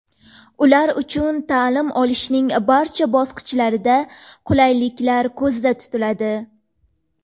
Ular uchun ta’lim olishning barcha bosqichlarida qulayliklar ko‘zda tutiladi.